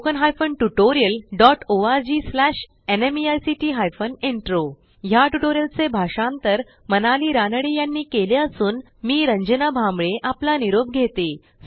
ह्या ट्युटोरियलचे भाषांतर मनाली रानडे यांनी केले असून मी रंजना भांबळे आपला निरोप घेते160